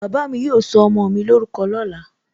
Bàbá mi yóò sọ ọmọ mi lórúkọ lóla